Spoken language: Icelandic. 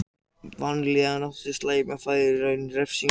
Vanlíðan af áti slæmrar fæðu er í raun refsing.